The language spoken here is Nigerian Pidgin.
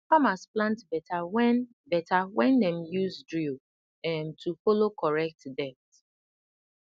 farmers plant better when better when dem use drill um to follow correct depth